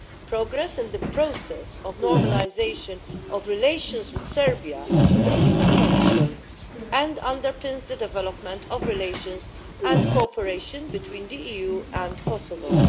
Progress in the process of normalisation of relations with Serbia is essential and underpins the development of relations and cooperation between the EU and Kosovo.